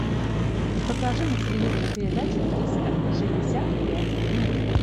покажи на телевизоре передачу триста шестьдесят пять дней